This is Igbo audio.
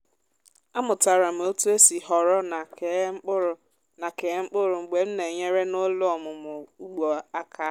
amụtara m otu esi họrọ na kee mkpụrụ na kee mkpụrụ mgbe m na-enyere n’ụlọ ọmụmụ ugbo aka.